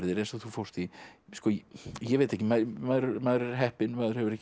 eins og þú fórst í ég veit ekki maður maður er heppinn maður hefur ekki